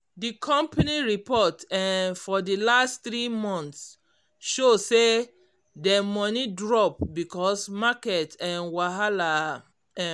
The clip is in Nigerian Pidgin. d company report um for d last three months show say dem money drop because market um wahala um